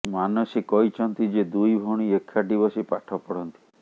ମାନସୀ କହିଛନ୍ତି ଯେ ଦୁଇ ଭଉଣୀ ଏକାଠି ବସି ପାଠ ପଢ଼ନ୍ତି